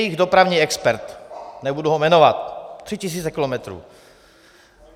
Jejich dopravní expert, nebudu ho jmenovat, 3 000 kilometrů.